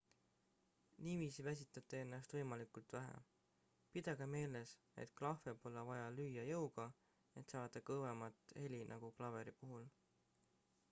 niiviisi väsitate ennast võimalikult vähe pidage meeles et klahve pole vaja lüüa jõuga et saada kõvemat heli nagu klaveri puhul